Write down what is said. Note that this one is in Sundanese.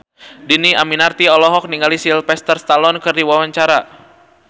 Dhini Aminarti olohok ningali Sylvester Stallone keur diwawancara